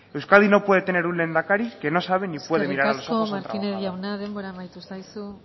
euskadi no puede tener un lehendakari que no sabe ni puede mirara a los ojos al trabajador eskerrik asko martínez jauna denbora amaitu zaizu